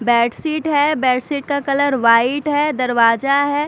Bed sheet है bed sheet का colour white है दरवाजा है।